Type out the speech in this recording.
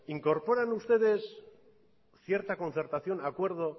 incorporan ustedes cierta concertación acuerdo